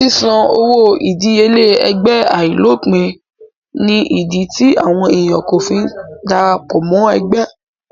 Ṣíṣan owó ìdíyelé ẹgbẹ́ àìlópìn ní ìdí tí àwọn èèyàn kò fi kí n dára pọ̀ mọ́ ẹgbẹ́